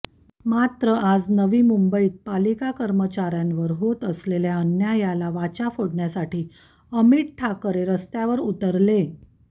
मात्र आज नवी मुंबईत पालिका कर्मचाऱ्यांवर होत असलेल्या अन्यायाला वाचा फोडण्यासाठी अमित ठाकरे रस्त्यावर उतरले